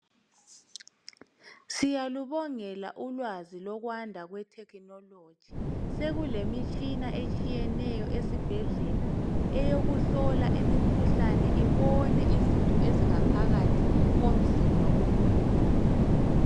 Siyalubongela ulwazi lokwanda lwethekhinologi sekulemitshina etshiyeneyo esibhedlela eyokuhlola imikhuhlane ibone izitho ezingaphakathi komzimba womuntu.